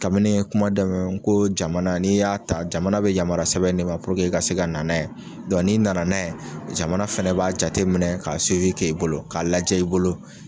Kabini kuma dɛmɛ n ko jamana ni y'a ta jamana bɛ yamaruya sɛbɛn di ma i ka se ka na na ye, ni nana na ye jamana fɛnɛ b'a jateminɛ ka k' i bolo ka lajɛ i bolo.